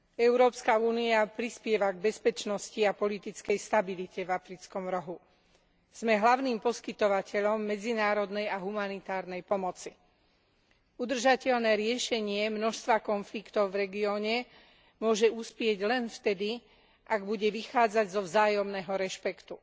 Európska únia prispieva k bezpečnosti a politickej stabilite v Africkom rohu. Sme hlavným poskytovateľom medzinárodnej a humanitárnej pomoci. Udržateľné riešenie množstva konfliktov v regióne môže uspieť len vtedy, ak bude vychádzať zo vzájomného rešpektu.